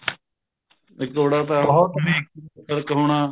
ਇੱਕ ਇਹ ਕਰਾਉਣਾ